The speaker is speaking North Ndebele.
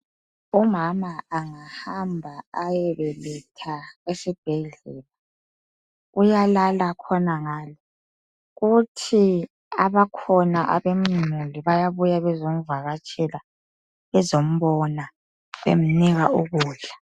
Umama angahamba ayebeletha esibhedlela, uyalala khonangale kuthi abakhona abemuli bayabuya bezomvakatshela bezombona bemnika ukudla.